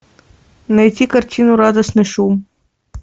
найти картину радостный шум